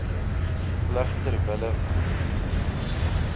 plig ter wille